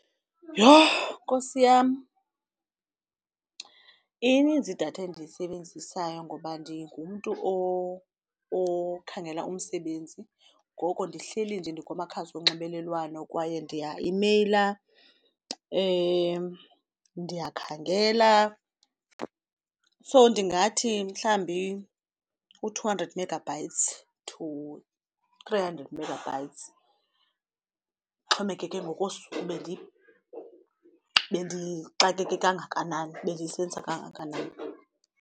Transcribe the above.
Yho, Nkosi yam! ininzi idatha endiyisebenzisayo ngoba ndingumntu okhangela umsebenzi ngoko ndihleli nje ndikumakhasi onxibelelwano kwaye ndiyaimeyila ndiyakhangela. So ndingathi mhlawumbi u-two hundred megabytes to three hundred megabytes, kuxhomekeke ngokosuku bendixakeke kangakanani bendiyisebenzisa kangakanani.